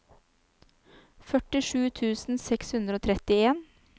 førtisju tusen seks hundre og trettien